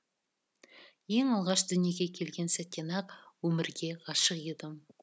ең алғаш дүниеге келген сәттен ақ өмірге ғашық едім